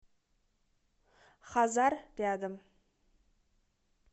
хазар рядом